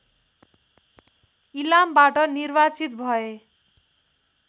इलामबाट निर्वार्चित भए